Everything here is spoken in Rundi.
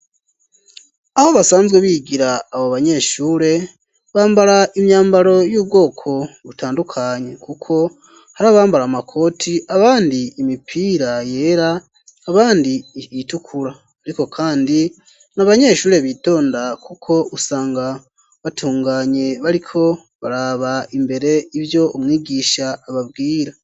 Aho basanzwe bigira abo banyeshure, bambara imyambaro y'ubwoko butandukanye, kuko hari abambara amakoti, abandi imipira yera, abandi itukura, ariko kandi ni abanyeshure bitonda kuko usanga batunganye bariko baraba imbere ivyo umwigisha ababwira.